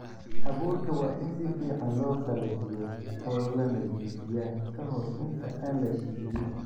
Abuurka waa in si fiican loo qalajiyo oo la nadiifiyaa ka hor inta aan la shidin.